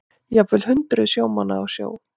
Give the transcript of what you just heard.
Jafnvel hundruð sjómanna á sjó